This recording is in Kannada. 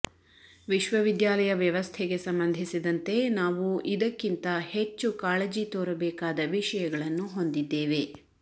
ವಿಶ್ವವಿದ್ಯಾಲಯ ವ್ಯವಸ್ಥೆಗೆ ಸಂಬಂಧಿಸಿದಂತೆ ನಾವು ಇದಕ್ಕಿಂತ ಹೆಚ್ಚು ಕಾಳಜಿ ತೋರಬೇಕಾದ ವಿಷಯಗಳನ್ನು ಹೊಂದಿದ್ದೇವೆ